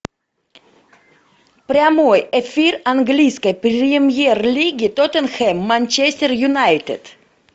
прямой эфир английской премьер лиги тоттенхэм манчестер юнайтед